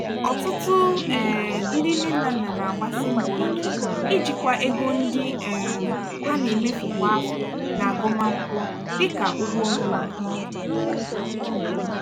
ọtụtụ um ndị nne na nna na-agbasi mbọ ike ijikwa ego ndị um ha na-emefu kwa afọ n'agụmakwụkwọ dị ka ụgwọ ọnwa.